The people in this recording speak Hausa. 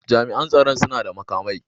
Jami'an tsoron suna da makamai.